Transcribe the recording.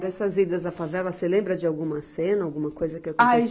Dessas idas à favela, você lembra de alguma cena, alguma coisa que aconteceu?